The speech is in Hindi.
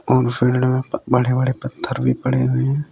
और फील्ड में बड़े बड़े पत्थर भी पड़े हुए हैं।